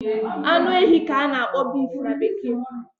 Anu ehi ka a na-akpọ beef na bekee